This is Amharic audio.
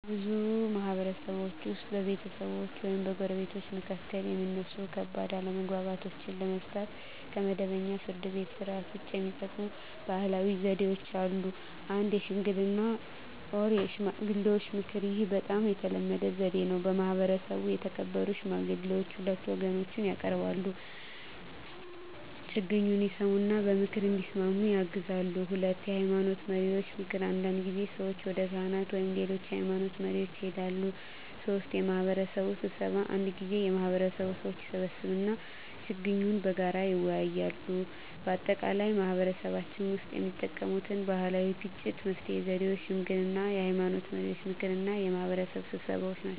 በብዙ ማህበረሰቦች ውስጥ በቤተሰቦች ወይም በጎረቤቶች መካከል የሚነሱ ከባድ አለመግባባቶችን ለመፍታት ከመደበኛው የፍርድ ቤት ሥርዓት ውጭ የሚጠቀሙ ባህላዊ ዘዴዎች አሉ። 1. ሽምግልና (የሽማግሌዎች ምክር) ይህ በጣም የተለመደ ዘዴ ነው። በማህበረሰቡ የተከበሩ ሽማግሌዎች ሁለቱን ወገኖች ያቀርባሉ፣ ችግኙን ይሰሙ እና በምክር እንዲስማሙ ያግዛሉ። 2. የሃይማኖት መሪዎች ምክር አንዳንድ ጊዜ ሰዎች ወደ ካህናት ወይም ሌሎች የሃይማኖት መሪዎች ይሄዳሉ። 3. የማህበረሰብ ስብሰባ አንዳንድ ጊዜ የማህበረሰቡ ሰዎች ይሰበሰባሉ እና ችግኙን በጋራ ይወያያሉ። በአጠቃላይ በማህበረሰባችን ውስጥ የሚጠቀሙት ባህላዊ የግጭት መፍትሄ ዘዴዎች ሽምግልና፣ የሃይማኖት መሪዎች ምክር እና የማህበረሰብ ስብሰባ ናቸው።